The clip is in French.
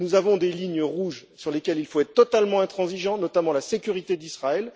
Nous avons des lignes rouges sur lesquelles il faut être totalement intransigeant, notamment la sécurité d'Israël.